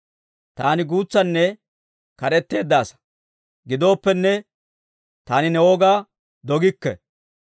Taani guutsanne kad'etteedda asaa; gidooppenne, taani ne wogaa dogikke.